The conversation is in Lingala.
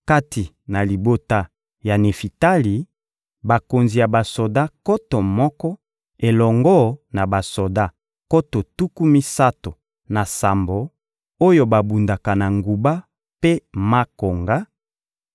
kati na libota ya Nefitali: bakonzi ya basoda nkoto moko, elongo na basoda nkoto tuku misato na sambo oyo babundaka na nguba mpe makonga;